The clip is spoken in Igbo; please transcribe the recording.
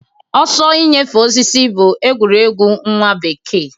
Ọsọ inyefe osisi bụ egwuregwu nwa bekee.